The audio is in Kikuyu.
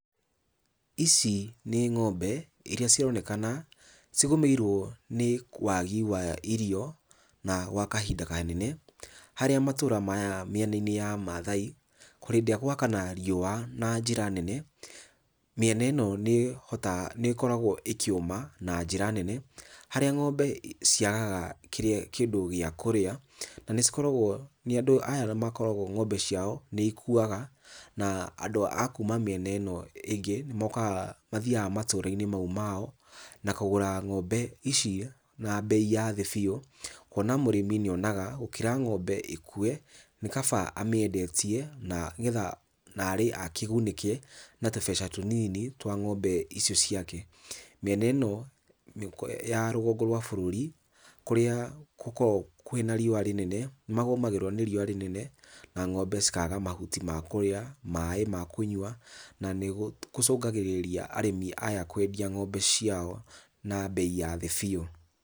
Ici ni ng'ombe iria cironeka cigũmĩirwo nĩ wagi wa irio na gwa kahinda kanene, harĩa matũra maya mĩena-inĩ ya Maathai, hĩndĩ ĩrĩa gwakana riũa na njira nene mĩena ĩno nĩĩhotaga nĩkoragwo ĩkĩũma na njĩra nene, harĩa ng'ombe ciagaga kĩrĩa kĩndũ gĩa kũrĩa, na nĩcikoragwo na andũ aya nĩmakoragwo ng'ombe ciao nĩ ikuaga na andũ a kuma matũra mĩena-inĩ ĩno ĩngĩ, nĩmokaga mathiaga matũra-inĩ mau mao na kũgũra ng'ombe ici na mbei ya thĩ biũ, kuona mũrĩmi nĩonaga gũkĩra ng'ombe ĩkue, nĩ kaba amĩendetie na getha narĩ akĩgunĩke na tũbeca tũnini twa ng'ombe icio ciake. Mĩena ĩno ya rũgongo rwa bũrũri, kũrĩa kũkoragwo na riũa rĩnene, nĩmagomagĩrwo nĩ riũa rĩnene na ng'ombe cikaga mahuti ma kũrĩa, maĩ ma kũnyua na nĩkũcũngagĩrĩria arĩmi aya kwendia ng'ombe ciao na mbei ya thĩ biũ.